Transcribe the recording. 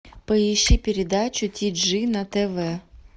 поищи передачу ти джи на тв